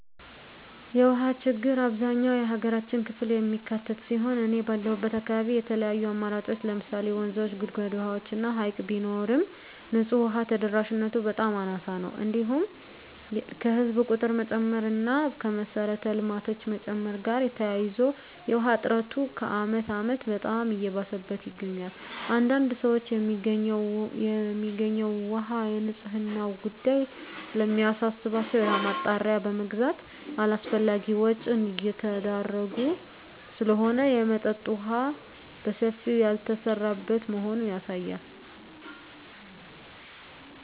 የውሃ ችግር አብዛኛው የሀገራችን ክፍል የሚካትት ሲሆን እኔ ባለሁበት አካባቢ የተለያዩ አማራጮች ለምሳሌ ወንዞች; ጉድጓድ ውሃዎች እና ሀይቅ ቢኖርም ንፁህ ውሃ ተደራሽነቱ በጣም አናሳ ነው። እንዲሁም ከህዝብ ቁጥር መጨመር እና ከመሰረተ ልማቶች መጨመር ጋር ተያይዞ የውሃ እጥረቱ ከአመት አመት በጣም እየባሰበት ይገኛል። አንዳንድ ሰዎች የሚገኘው ውሃ የንፅህናው ጉዳይ ስለሚያሳስባቸው የውሃ ማጣሪያ በመግዛት አላስፈላጊ ወጭ እየተዳረጉ ስለሆነ የመጠጠጥ የውሃ በሰፊው ያልተሰራበት መሆኑ ያሳያል።